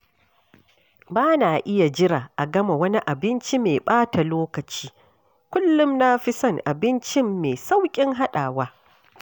Ba na iya jira a gama wani abinci mai ɓata lokaci, kullum na fi son abincin mai sauƙin haɗawa